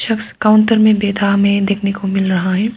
उस काउंटर मे बैठा हमे देखने को मिल रहा है।